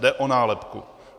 Jde o nálepku.